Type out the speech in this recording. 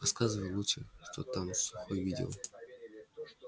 рассказывай лучше что там сухой видел